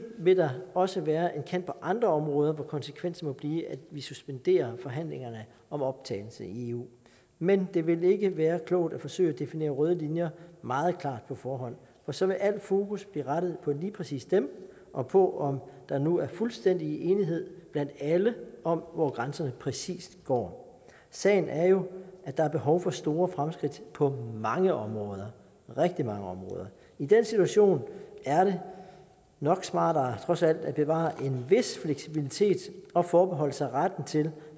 vil der også være en kant på andre områder hvor konsekvensen må blive at vi suspenderer forhandlingerne om optagelse i eu men det vil ikke være klogt at forsøge at definere røde linjer meget klart på forhånd for så vil al fokus blive rettet på lige præcis dem og på om der nu er fuldstændig enighed blandt alle om hvor grænserne præcis går sagen er jo at der er behov for store fremskridt på mange områder rigtig mange områder i den situation er det nok smartere trods alt at bevare en vis fleksibilitet og forbeholde sig retten til